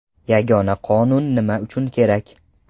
Yagona Qonun nima uchun kerak?